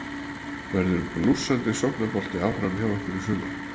Verður blússandi sóknarbolti áfram hjá ykkur í sumar?